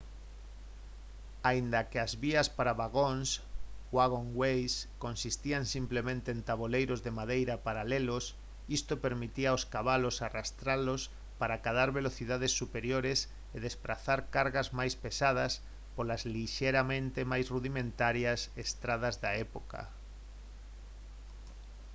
aínda que as vías para vagóns «waggonways» consistían simplemente en taboleiros de madeira paralelos isto permitía aos cabalos arrastralos para acadar velocidades superiores e desprazar cargas máis pesadas polas lixeiramente máis rudimentarias estradas da época